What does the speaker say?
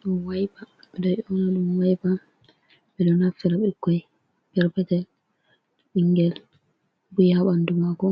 Ɗum waipa, ɓe ɗo ƴona ɗum waipa. Ɓe ɗo naftira bikkoi perpetel, ɓingel bu'i haa ɓandu maako.